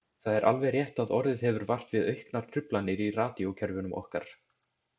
Það er alveg rétt að orðið hefur vart við auknar truflanir í radíókerfunum okkar.